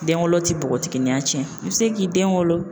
Den wolo tɛ bɔgɔtigininya cɛn i bɛ se k'i den wolo.